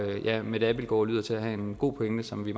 ja mette abildgaard lyder til at have en god pointe som vi